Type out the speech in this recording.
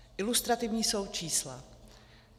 Ilustrativní jsou čísla.